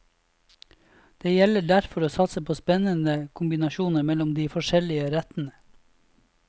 Det gjelder derfor å satse på spennende kombinasjoner mellom de forskjellige rettene.